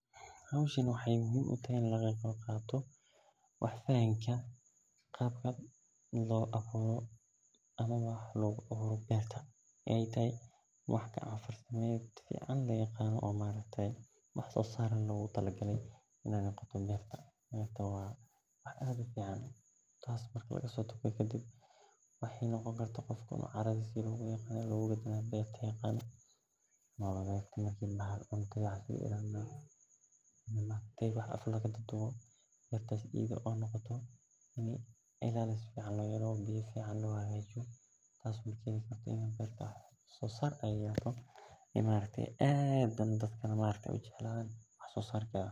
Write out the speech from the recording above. Hoshani waxee muhiim utahay in laga qeb qato wax sosar logu taage beertaa waa wax aad u fican bertas iyada noqoto melaha wax laga helo aad ayey wax sosarka wax ogu tarta wanagsan oo hubiyo cuntoyinka si sahlan lo heli karo.